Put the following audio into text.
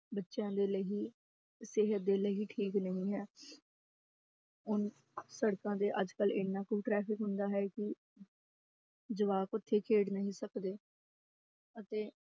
ਬੱਚਿਆਂ ਦੇ ਲਈ ਸਿਹਤ ਦੇ ਲਈ ਠੀਕ ਨਹੀਂ ਹੈ ਹੁਣ ਸੜਕਾਂ ਤੇ ਅੱਜ ਕੱਲ੍ਹ ਇੰਨਾ ਕੁ ਟਰੈਫ਼ਿਕ ਹੁੰਦਾ ਹੈ ਕਿ ਜਵਾਕ ਉੱਥੇ ਖੇਡ ਨਹੀਂ ਸਕਦੇ ਅਤੇ